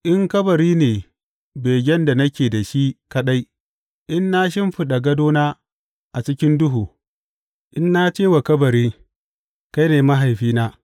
In kabari ne begen da nake da shi kaɗai, in na shimfiɗa gadona a cikin duhu, In na ce wa kabari, Kai ne mahaifina,’